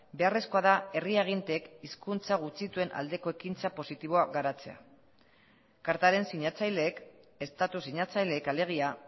beharrezkoa da herri aginteek hizkuntza gutxituen aldeko ekintza positiboa garatzea kartaren sinatzaileek estatu sinatzaileek alegia